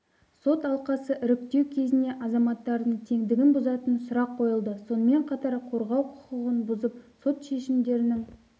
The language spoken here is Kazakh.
сот алқасын іріктеу кезінде азаматтардың теңдігін бұзатын сұрақ қойылды сонымен қатар қорғау құқығын бұзып сот шешімдерінің